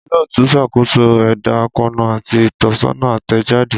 Olootu n ṣakoso ẹda akoonu ati itọsọna atẹjade.